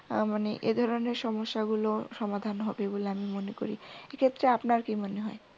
্তাইমানে এধরনের সমস্যাগুলো সমাধান হবে বলে আমি মনে করি। এক্ষেত্রে আপনার কি মনে হয়?